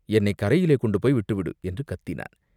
என்னைக் கரையிலே கொண்டு போய் விட்டுவிடு!" என்று கத்தினான்.